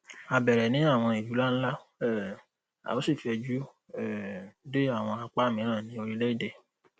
a bẹrẹ ni awọn ilu nlanla um a o si fẹju um de awọn apa miiran ni orilẹede